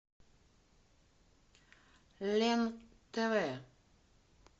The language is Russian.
лен тв